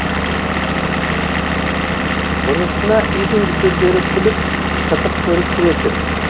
бұнысына үйдің үлкендері күліп қызық көріп жүретін